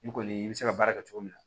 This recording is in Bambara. I kɔni i bɛ se ka baara kɛ cogo min na